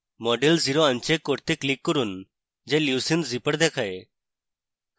model zero uncheck করতে click করুন যা leucine zipper দেখায়